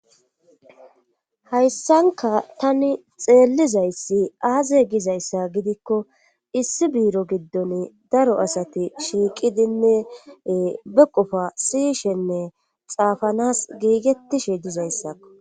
hayssanka tani xeellizayssi aaze gizayssa gidikko issi biiro giddon daro asati shiiqidinne be qofa siishenne xaafanas giigettishe dizayssakko